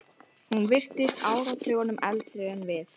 Hún virtist áratugunum eldri en við.